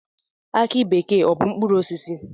Aki bekee ọ bụ mkpụrụosisi?